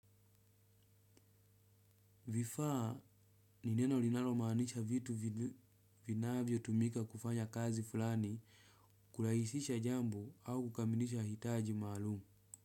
Vifaa ni neno linalomaanisha vitu vinavyotumika kufanya kazi fulani kurahisisha jambo au kukamilisha hitaji maalum.